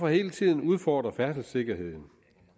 hele tiden udfordre færdselssikkerheden